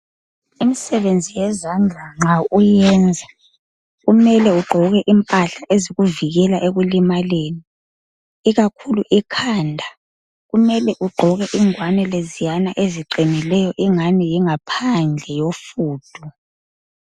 imisebenzi yezandla nxa uyiyenzakumele ugqoke imphahla ezikuvikela ekulimaleni ikakhulu ekhanda kumele ugqoke izingwani eziqhinileyo engani yingaphandle yofundu